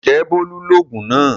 Ǹjẹ́ Bólú lògùn náà?